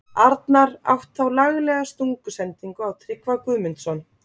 Arnar átt þá laglega stungusendingu á Tryggva Guðmundsson.